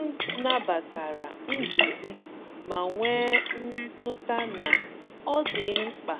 M nabatara nduzi, ma nwee mmetụta na ọ dị mkpa